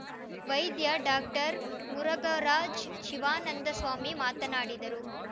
ವೈದ್ಯ ಡಾಕ್ಟರ್ ಮುರಘರಾಜ್‌ ಶಿವಾನಂದ ಸ್ವಾಮಿ ಮಾತನಾಡಿದರು